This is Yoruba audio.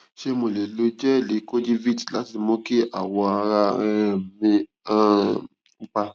ṣé mo lè lo jẹẹlì kojivit láti mú kí awọ ara um mí um pupa